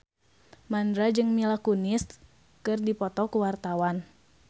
Mandra jeung Mila Kunis keur dipoto ku wartawan